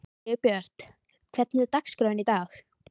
Sigurbjört, hvernig er dagskráin í dag?